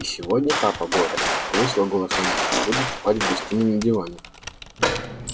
и сегодня папа боря повысила голос мамулька будет спать в гостиной на диване